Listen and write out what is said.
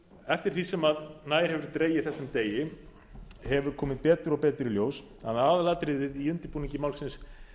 eftir því sem nær hefur dregið þessum degi hefur komið betur og betur í ljós að aðalatriðið í undirbúningi málsins